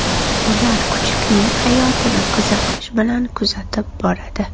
Ular kuchukning hayotini qiziqish bilan kuzatib boradi.